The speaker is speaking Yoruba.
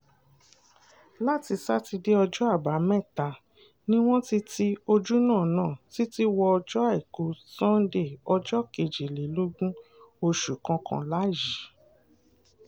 láti sátidé ọjọ́ àbámẹ́ta ni wọ́n ti ti ojúnà náà títí wọ ọjọ́ àìkú sànńdé ọjọ́ kejìlélógún oṣù kọkànlá yìí